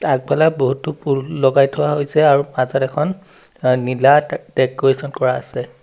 আগফালে বহুতো ফুল লগাই থোৱা হৈছে আৰু মাজত এখন আ নীলা তে তেক-কৰেচন কৰা আছে।